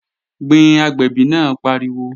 Gbin, agbẹ̀bí náà pariwo!